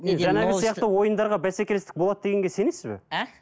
жаңағы сияқты ойындарға бәсекелестік болады дегенге сенесіз бе а